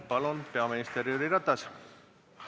Palun, peaminister Jüri Ratas!